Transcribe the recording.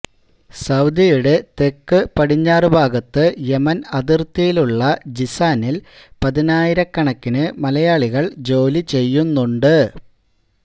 സൌദിയുടെ തെക്ക് പടിഞ്ഞാറ് ഭാഗത്ത് യമന് അതിര്ത്തിയിലുള്ള ജിസാനില് പതിനായിരക്കണക്കിന് മലയാളികള് ജോലി ചെയ്യുന്നുണ്ട്